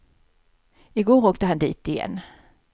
I går åkte han dit igen.